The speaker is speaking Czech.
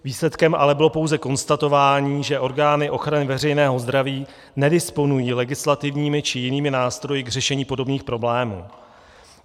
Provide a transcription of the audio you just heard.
Výsledkem bylo ale pouze konstatování, že orgány ochrany veřejného zdraví nedisponují legislativními či jinými nástroji k řešení podobných problémů.